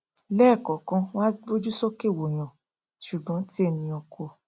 lẹẹkọkan wọn á gbójú sókè wòyàn ṣùgbọn tí ènìà kò